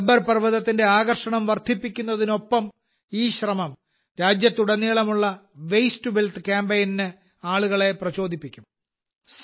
ഗബ്ബർ പർവതത്തിന്റെ ആകർഷണം വർധിപ്പിക്കുന്നതിനൊപ്പം ഈ ശ്രമം രാജ്യത്തുടനീളമുള്ള വേസ്റ്റ് ടു വെൽത്ത് കാമ്പെയ്നിന് ആളുകളെ പ്രചോദിപ്പിക്കും